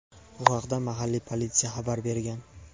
Bu haqda mahalliy politsiya xabar bergan.